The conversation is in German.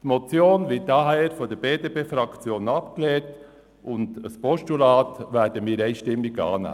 Die Motion wird daher von der BDP-Fraktion abgelehnt.